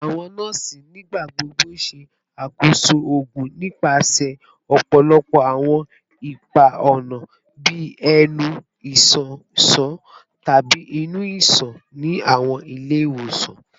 Awọn nọọsi nigbagbogbo n ṣakoso oogun nipasẹ ọpọlọpọ awọn ipa-ọna bii ẹnu, iṣan iṣan, tabi inu iṣan ni awọn ile-iwosan